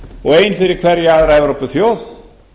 og ein fyrir hverja aðra evrópuþjóð